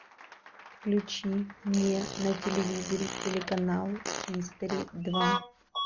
включи мне на телевизоре телеканал хистори два